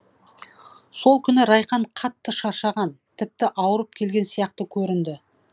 сол күні райхан қатты шаршаған тіпті ауырып келген сияқты көрінді